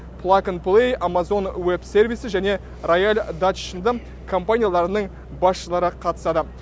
плакан плей амазон уеб сервисі және рояль датч сынды компанияларының басшылары қатысады